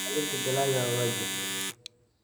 Ilaalinta dalagga waa waajib.